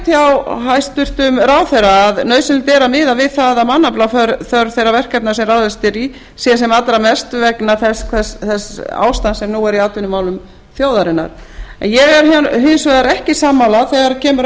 hjá hæstvirtum ráðherra að nauðsynlegt er að miða við það að mannaflaþörf þeirra verkefna sem ráðist er í sé sem allra mest vegna þess ástands sem nú er í atvinnumálum þjóðarinnar en ég er hins vegar ekki sammála þegar kemur að